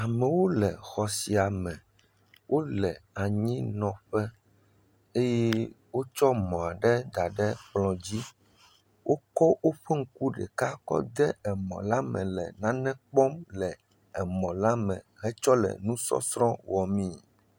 Amewo nɔ xɔ sia me. Wonɔ anyi nɔ ƒe eye wotsɔ mɔa ɖe da ɖe kplɔ dzi. Wokɔ woƒe ŋku ɖeka kɔ ɖe emɔ la me le nane kpɔm le emɔ la me hetsɔ le nu sɔsrɔ̃wɔm me.